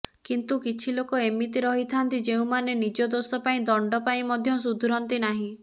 କିନ୍ତୁ କିଛି ଲୋକ ଏମିତି ରହିଥାନ୍ତି ଯେଉଁମାନେ ନିଜ ଦୋଷ ପାଇଁ ଦଣ୍ଡ ପାଇ ମଧ୍ୟ ସୁଧୁରନ୍ତି ନାହିଁ